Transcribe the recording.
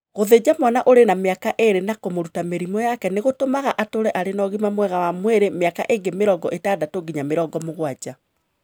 "Gũthinja mwana ũrĩ na mĩaka ĩĩrĩ na kũmũruta mĩrimũ yake nĩ gũtũmaga atũũre arĩ na ũgima mwega wa mwĩrĩ mĩaka ĩngĩ mĩrongo ĩtandatũ nginya mĩrongo mũgwanja.